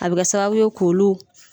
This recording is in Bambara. A bɛ ka sababu ye k'olu